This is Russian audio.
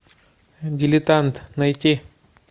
дилетант найти